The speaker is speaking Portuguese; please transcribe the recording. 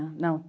Não